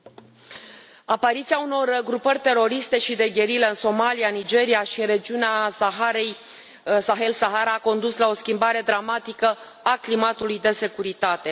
Domnule președinte, apariția unor grupări teroriste și de gherilă în Somalia, Nigeria și în regiunea Saharei, Sahel Sahara, a condus la o schimbare dramatică a climatului de securitate.